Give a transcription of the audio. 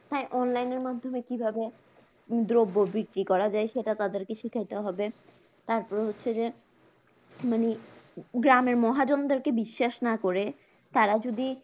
হ্যাঁ online এর মাধ্যমে কিভাবে দ্রব্য বিক্রি করা যায় সেটা তাদেরকে শিখাতে হবে তারপরে হচ্ছে যে মানে গ্রামের মহাজনদের বিশ্বাস না করে তারা যদি